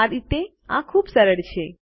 આ રીતે આ ખુબ સરળ છે